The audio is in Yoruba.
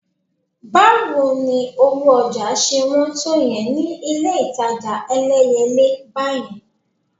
Báwo ni owó ọjà ṣe wọ́n tó yẹn ni ilé-ìtajà Ẹlẹ́yẹlé báyẹn?